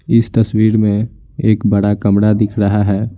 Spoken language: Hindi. इस तस्वीर में एक बड़ा कमरा दिख रहा है।